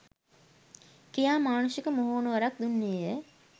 කියා මානුෂික මුහුණුවරක් දුන්නේය.